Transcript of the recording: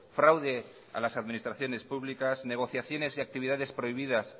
fraude a las administraciones públicas negociaciones y actividades prohibidas